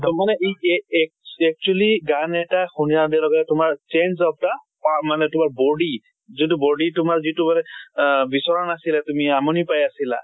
মানে এই যে এ actually গান এটা শুনাৰ লগে লগে change of the আহ মানে তোমাৰ body যোন টো body তোমাৰ যিটো মানে আহ বিচঁৰা নাছিলে, তুমি আমনি পাই আছিলা